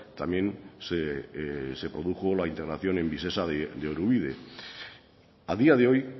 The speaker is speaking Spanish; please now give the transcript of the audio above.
también se produjo la integración en visesa de orubide a día de hoy